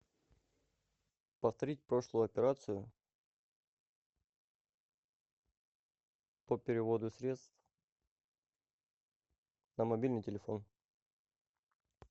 повторить прошлую операцию по переводу средств на мобильный телефон